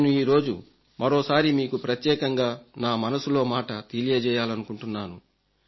నేను ఈరోజు మరోసారి మీకు ప్రత్యేకంగా నా మనసులో మాట తెలియజేయాలనుకుంటున్నాను